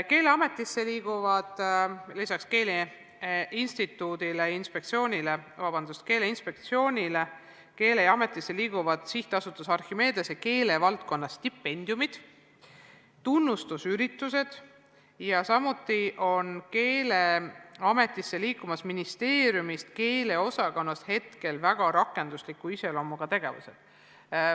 Keeleametisse liiguvad peale Keeleinspektsiooni veel Archimedese SA keelevaldkonna stipendiumid ja tunnustusüritused, samuti ministeeriumist keeleosakonnast praegused rakendusliku iseloomuga tegevused.